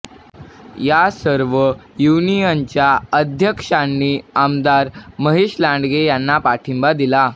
या सर्व युनियनच्या अध्यक्षांनी आमदार महेश लांडगे यांना पाठिंबा दिला